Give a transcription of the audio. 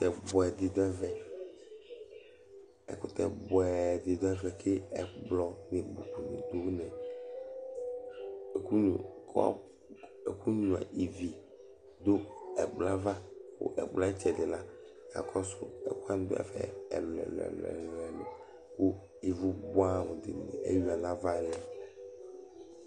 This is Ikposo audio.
Ɛkutɛ bʋɛɖi ɖu ɛvɛ Ku ɛkplɔ ni ɖu aɣili kʋ nyʋa ívì ɖu ɛkplɔɛ ava kʋ ɛkplɔɛ ayʋ ɛtsɛɖi la akɔsu ɛku waŋi ɖu ɛfɛ ɛlu ɛlu kʋ ívu bʋɛ amu ɖi eɣʋa ŋu ava lɛ